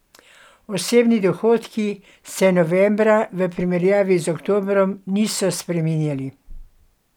Osebni dohodki se novembra v primerjavi z oktobrom niso spreminjali.